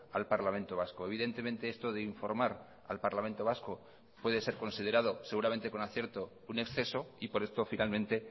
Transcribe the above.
al parlamento vasco evidentemente esto de informar al parlamento vasco puede ser considerado seguramente con acierto un exceso y por esto finalmente